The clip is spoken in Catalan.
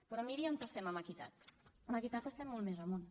però miri on estem en equitat en equitat estem molt més amunt